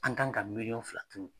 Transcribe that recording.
An kan ka miliyɔn fila d'u ma.